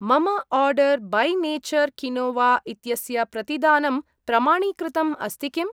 मम order by nature quinoa इत्यस्य प्रतिदानं प्रमाणीकृतम् अस्ति किम्?